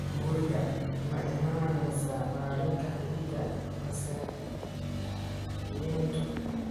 Gurigaa maimanesa malinka cidaa masixiyintu